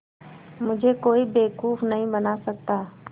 मुझे कोई बेवकूफ़ नहीं बना सकता